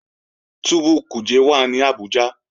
Túbú Kuje wà ní Abuja